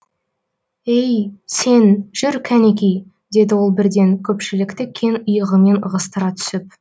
ей сен жүр кәнеки деді ол бірден көпшілікті кең иығымен ығыстыра түсіп